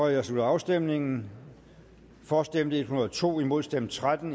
jeg slutter afstemningen for stemte en hundrede og to imod stemte tretten